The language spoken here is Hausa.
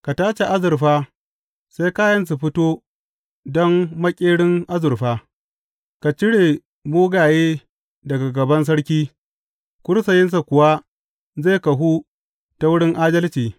Ka tace azurfa sai kayan su fito don maƙerin azurfa; ka cire mugaye daga gaban sarki, kursiyinsa kuwa zai kahu ta wurin adalci.